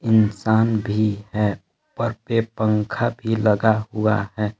इंसान भी है और एक पंखा भी लगा हुआ है।